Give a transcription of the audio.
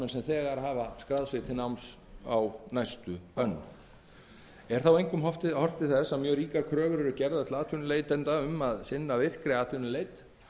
enda þykir það ekki samrýmast markmiðum laganna er þá einkum horft til þess að mjög ríkar kröfur eru gerðar til atvinnuleitenda um að sinna virkri atvinnuleit